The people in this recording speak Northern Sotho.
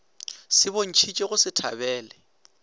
se bontšhitše go se thabele